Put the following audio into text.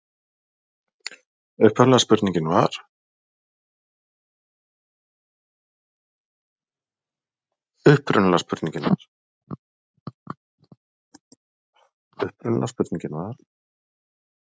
Upprunalega spurningin var: